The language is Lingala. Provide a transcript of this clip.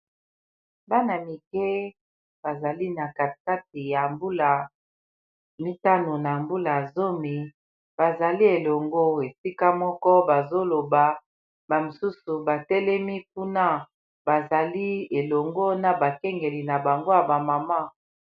Bana mike bazali na kati kati ya mbula mitano na mbula zomi bazali elongo esika moko ba zoloba ba mosusu batelemi kuna bazali elongo na bakengeli na bango ya ba mama.